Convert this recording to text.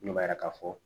Ne b'a yira k'a fɔ